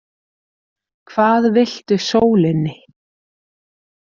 Hvað viltu sólinni?